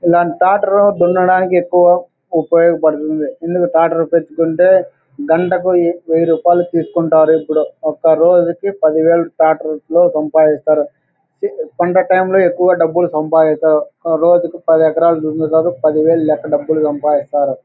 ఇలాంటి ట్రాక్టరు దున్నడానికి ఎక్కువ ఉపయోగపడుతుంది. ట్రాక్టరు తెచ్చుకుంటే గంటకు వెయ్యి రూపాయలు తీసుకుంటారు . ఇప్పుడు ఒక్క రోజుకి పదివేలు ట్రాక్టర్స్ తో సంపాదిస్తారు. సండే టైము లో ఎక్కువ డబ్బులు సంపాదిస్తారు. పది వేలు లెక్క డబ్బులు సంపాదిస్తారు.